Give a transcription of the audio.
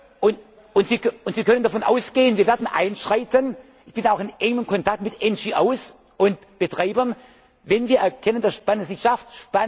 Tisch. Zurufe Und Sie können davon ausgehen Wir werden einschreiten, ich bin auch in engem Kontakt mit NGOs und Betreibern, wenn wir erkennen, dass Spanien das nicht